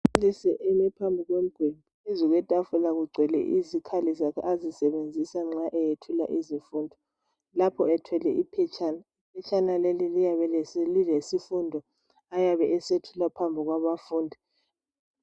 Umbalisi ume phambi komgwembe phezu kwetafula kugcwele izikhali zakhe azisebenzisa nxa eyethula izifundo, lapho ethwele iphetshana , iphetshana leli liyabe lilesifundo ayabe esethula phambi kwabafundi.